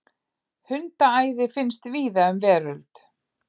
Hundaæði finnst víða um veröld.